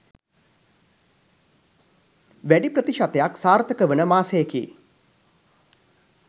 වැඩි ප්‍රතිශතයක් සාර්ථක වන මාසයකි.